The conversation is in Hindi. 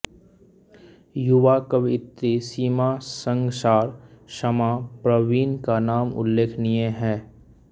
युवा कवयित्री सीमा संगसार समाँ प्रवीण का नाम उल्लेखनीय है